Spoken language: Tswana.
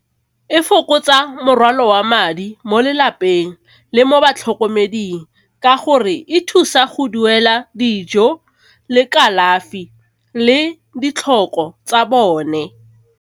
E fokotsa morwalo wa madi mo lelapeng le mo batlhokomeding ka gore e thusa go duela dijo le kalafi le ditlhoko tsa bone.